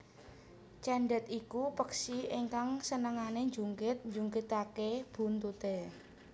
Cendet iku peksi ingkang senengane njungkit njungkitake buntute